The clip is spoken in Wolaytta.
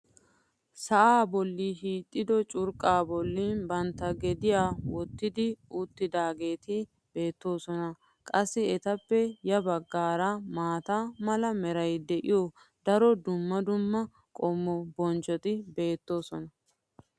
Sa"aa boli hiixxido curqaa boli bantta gediya wottidi uttidaageeti beetoosona. qassi etappe ya bagaara maata mala meray de'iyo daro dumma dumma qommo bonccoti beetoosona.